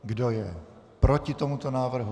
Kdo je proti tomuto návrhu?